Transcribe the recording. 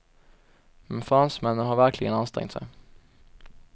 Men fransmännen har verkligen ansträngt sig.